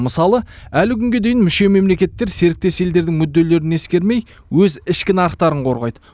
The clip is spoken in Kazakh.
мысалы әлі күнге дейін мүше мемлекеттер серіктес елдердің мүдделерін ескермей өз ішкі нарықтарын қорғайды